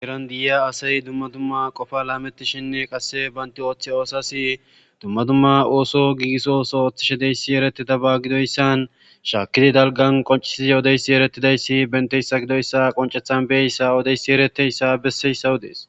Heeran de'iya asa dumma dumma qoopa lametishenne qase bantta ooththiyo asas dumma dumma ooso gigiso ooso oththishe dizayssi ertidabba gidoyssan shaakidi dalggan qonccisiyodde eeretidayssi benteyssa gidoyssa qonccechchan beyoyissa eretiyoyissa bessoyssa oodes.